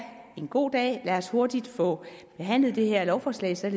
en god dag lad os hurtigt få behandlet det her lovforslag så